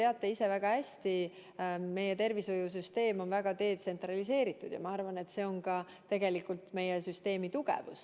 Nagu te ise väga hästi teate, meie tervishoiusüsteem on väga detsentraliseeritud, ja ma arvan, et see on tegelikult meie süsteemi tugevus.